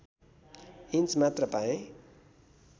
inch मात्र पाए